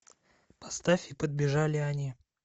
поставь и подбежали они